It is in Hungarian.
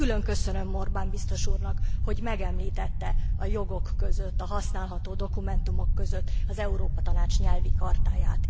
Külön köszönöm Orban biztos úrnak, hogy megemlítette a jogok között, a használható dokumentumok között az Európa Tanács Nyelvi Chartáját.